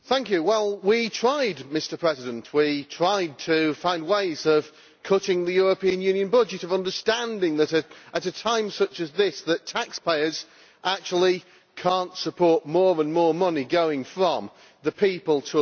Mr President, we tried to find ways of cutting the European Union budget, of understanding that, at a time such as this, taxpayers actually cannot support more and more money going from the people to the European Union.